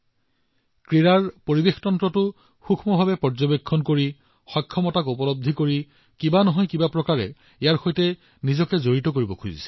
তেওঁলোকে সমগ্ৰ পৰিৱেশ প্ৰণালীটো অতি নিবিড়ভাৱে চাইছে ইয়াৰ সম্ভাৱনা বুজি আছে আৰু নিজকে কোনো প্ৰকাৰে নহয় কোনো প্ৰকাৰে সংযোগ কৰিব বিচাৰিছে